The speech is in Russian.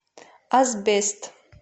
асбест